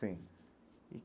Sim.